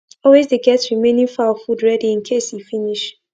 always dey get remaining fowl food ready in case e finsh